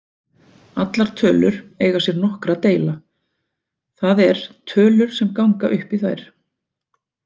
Allar tölur eiga sér nokkra deila, það er tölur sem ganga upp í þær.